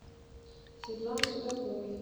светланы судаковой